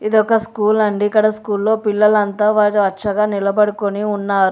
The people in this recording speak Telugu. ఇది ఒక స్కూల్ అండి ఇక్కడ స్కూల్లో పిల్లలంతా వర్చగా నిలబడికొని ఉన్నారు.